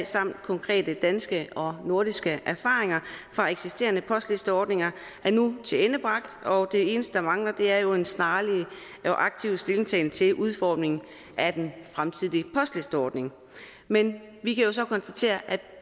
samt konkrete danske og nordiske erfaringer fra eksisterende postlisteordninger er nu tilendebragt og det eneste der mangler er jo en snarlig og aktiv stillingtagen til udformningen af den fremtidige postlisteordning men vi kan jo så konstatere at